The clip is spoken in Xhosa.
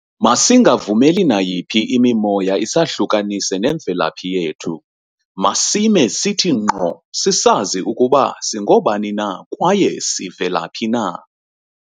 Masingavumeli nayiphi imimoya isahlukanise nemvelaphi yethu. Masime sithi ngqo sisazi ukuba singobani na kwaye sivelaphi na.